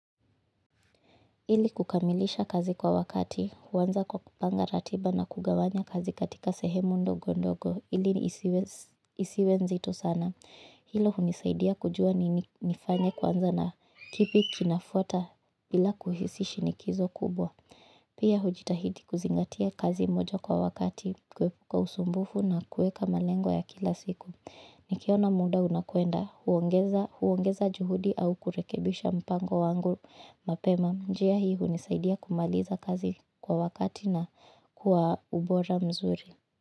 Ili kukamilisha kazi kwa wakati, huanza kwa kupanga ratiba na kugawanya kazi katika sehemu ndogo ndogo, ili isiwe nzito sana. Hilo hunisaidia kujua nini nifanye kwanza, na kipi kinafuata bila kuhisi shinikizo kubwa. Pia hujitahidi kuzingatia kazi moja kwa wakati kuepuka usumbufu na kuweka malengo ya kila siku. Nikiona muda unakwenda, huongeza juhudi au kurekebisha mpango wangu mapema njia hii hunisaidia kumaliza kazi kwa wakati na kwa ubora mzuri.